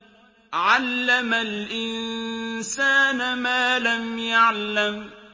عَلَّمَ الْإِنسَانَ مَا لَمْ يَعْلَمْ